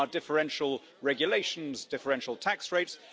There are differential regulations, differential tax rates.